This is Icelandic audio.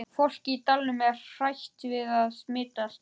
Fólkið í dalnum er hrætt við að smitast.